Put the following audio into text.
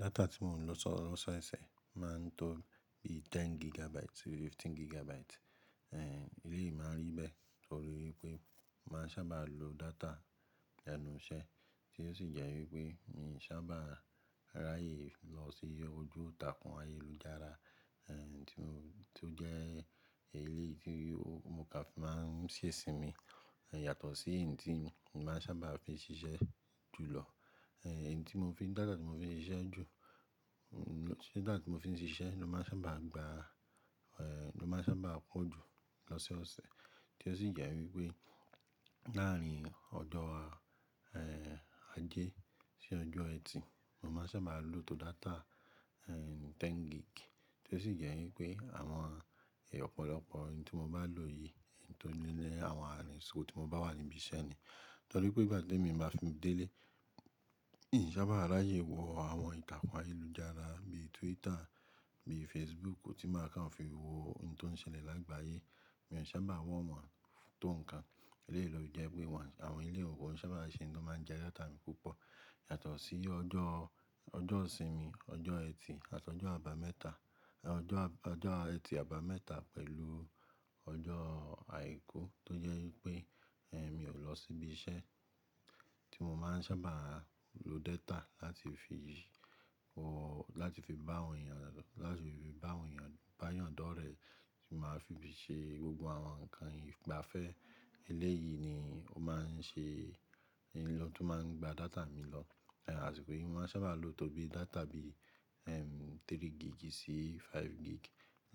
Data tí mò ń lo so lososẹ̀ ṣẹ́ṣẹ́ o máa ń tó bí 10 gigabytes sí 15 gigabytes. Ẹ̀hẹ̀, eléyìí máa ń rí bẹ́ẹ̀ torí wipé mo màá n sábà lo data lenú iṣẹ́ tí ó sì jẹ́ wípé mi i sábà ráyè lọ sí ojú ìtàkùn ayélujára, ẹ̀, tí o-- ti ó jẹ́ eléyìí tí mo kà fi máa ń ṣe sinmi, ẹ̀, yàtọ̀ sí hin tí mo màá sábà fi ṣiṣẹ́ jùlọ. Ẹ̀hẹ̀, èyí tí mo fi data tí mo fi ń ṣiṣẹ́ jù, ẹ̀, data tí mo fi ń ṣiṣẹ́ ló máa ń sábà gba, ẹ̀, ló máa ń sábà pó ju lọ́sẹ́ ọ̀sẹ̀. Tí ó sì jẹ́ wípé láàárín ọjọ́, ẹ́hẹ̀, ajé sí ọjọ́ Ẹtì, mò máa ń sábà lo tó data, ẹ́hẹ̀, 10 gig tí ó sì jẹ́ wípé àwọn èè ọ̀pọ̀lọpọ̀ n tí mo bá lò yìí, tó nílé àwọn àsiko tí mo bá wà níbí iṣẹ́ ni. Torí pé ìgbà tèmi bá fi n dé ilé, n sábà ráyè wo àwọn ìtàkùn ayélujára bíi Twitter, bíi Facebook, ko tí ma ka n fi wo hun tó ń ṣẹlẹ̀ lágbàáyé. Mi ò sábà wo wọ́n tò nǹkan. Eléyìí ló fi jẹ́ pé one, àwọn eleyi kò n sábà se n tó máa ń jẹ data mi púpọ̀. Yàtọ̀ sí ọjọ́, ọjọ́sinmi, ọjọ́ Ẹtì àti ọjọ́ àbámẹ́ta, ọjọ́ àb-- ọjọ́ Ẹtì àbámẹ́ta pẹ̀lú ọjọ́ Àìkú tó jẹ́ wípé, ẹ́hẹ̀, mi ò lọ síbí iṣẹ́ tí mo máa ń sábà lo data láti fi wọ-- láti fi bá àwọn èèyàn, láti fi bá àwọn èèyàn, bá yàn dọ́rẹ̀ẹ́ tí màá fi bi ṣe gbogbo àwọn nǹkan ìgbafẹ́. Eléyìí ni ó máa ń ṣe hin lo tun máa ń gba data mi lọ. Ẹ̀hẹ̀, àṣìkò yí, mo màá sábà lo tó bí data bí i, ẹ́m, 3 gig sí 5 gig.